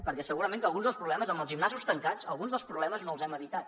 perquè segurament amb els gimnasos tancats alguns dels problemes no els hem evitat